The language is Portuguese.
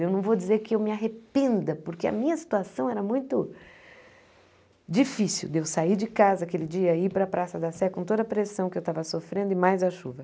Eu não vou dizer que eu me arrependa, porque a minha situação era muito difícil de eu sair de casa aquele dia e ir para a Praça da Sé com toda a pressão que eu estava sofrendo e mais a chuva.